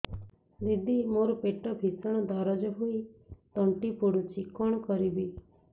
ଦିଦି ମୋର ପେଟ ଭୀଷଣ ଦରଜ ହୋଇ ତଣ୍ଟି ପୋଡୁଛି କଣ କରିବି